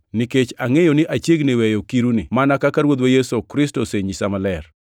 nikech angʼeyo ni achiegni weyo kiruni mana kaka Ruodhwa Yesu Kristo osenyisa maler.